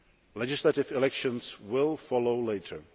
Legislative elections will follow later.